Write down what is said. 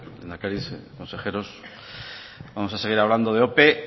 lehendakari consejeros vamos a seguir hablando de ope